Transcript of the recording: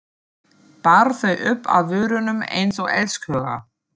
Bar þau upp að vörunum einsog elskhuga.